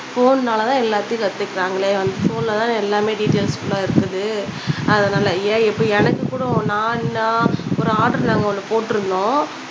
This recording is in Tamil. ஃபோன்னால தான் எல்லாத்தையும் கத்துக்குறாங்களே வந்து ஃபோன்ல தான எல்லாமே டீடைல்ஸ் ஃபுல்லா இருக்குது அதுனால ஏன் இப்ப எனக்கு கூட நான் நான் ஒரு ஆடர் ஒண்ணு நாங்க ஒண்ணு போட்டுருந்தோம்